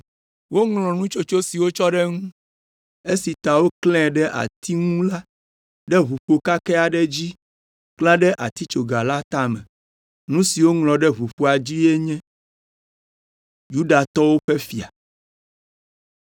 Woŋlɔ nutsotso si wotsɔ ɖe eŋu esi ta woklãe ɖe atia ŋu la ɖe ʋuƒo kakɛ aɖe dzi klã ɖe atitsoga la tame. Nu si woŋlɔ ɖe ʋuƒoa dzi enye: Yudatɔwo ƒe Fia.